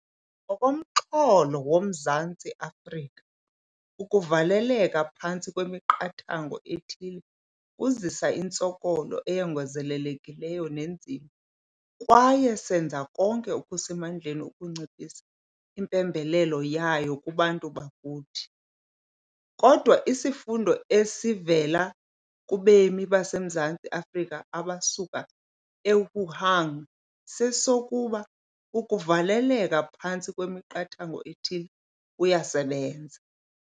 Ngokomxholo woMzantsi Afrika, ukuvaleleka phantsi kwemiqathango ethile kuzisa intsokolo eyongezelekileyo neenzima, kwaye senza konke okusemandleni ukunciphisa impembelelo yayo kubantu bakuthi. Kodwa isifundo esivela kubemi baseMzantsi Afrika abasuka e-Wuhan sesokuba ukuvaleleka phantsi kwemiqathango ethile kuyasebenza.